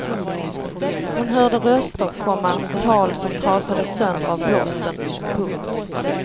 Hon hörde röster, komma tal som trasades sönder av blåsten. punkt